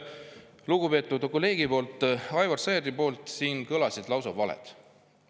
Lugupeetud kolleegi Aivar Sõerdi suust kõlasid siin lausa valed.